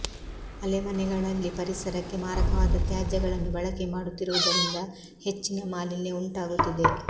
ಆಲೆಮನೆಗಳಲ್ಲಿ ಪರಿಸರಕ್ಕೆ ಮಾರಕವಾದ ತ್ಯಾಜ್ಯಗಳನ್ನು ಬಳಕೆ ಮಾಡುತ್ತಿರುವುದರಿಂದ ಹೆಚ್ಚಿನ ಮಾಲಿನ್ಯ ಉಂಟಾಗುತ್ತಿದೆ